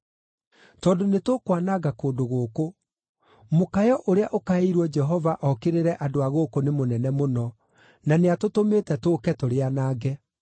tondũ nĩtũkwananga kũndũ gũkũ. Mũkayo ũrĩa ũkaĩirwo Jehova okĩrĩre andũ a gũkũ nĩ mũnene mũno, na nĩatũtũmĩte tũũke tũrĩanange.”